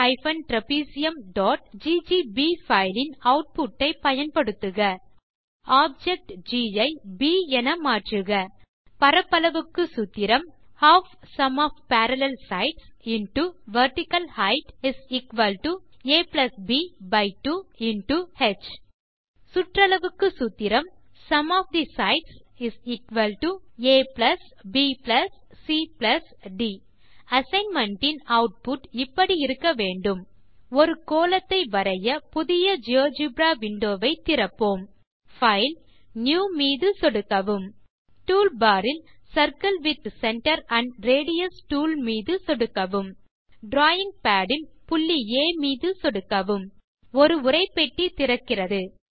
cons trapeziumஜிஜிபி file இன் output ஐ பயன்படுத்துக ஆப்ஜெக்ட் ஜி ஐ ப் என மாற்றுக பரப்பளவுக்கு சூத்திரம் aப்2 ஹ் சுற்றளவுக்கு சூத்திரம் abcட் அசைன்மென்ட் இன் ஆட்புட் இப்படி இருக்க வேண்டும் ஒரு கோளத்தை வரைய புதிய ஜியோஜெப்ரா விண்டோ வை திறப்போம் பைல் நியூ மீது சொடுக்கவும் டூல்பார் இல் circle with centre and radius tool மீது சொடுக்கவும் டிராவிங் பாட் இல் புள்ளி ஆ மீது சொடுக்கவும் ஒரு உரை பெட்டி திறக்கிறது